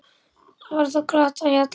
Var þá glatt á hjalla.